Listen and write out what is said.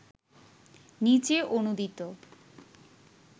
নিচে অনূদিত